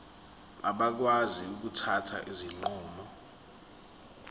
bakwazi ukuthatha izinqumo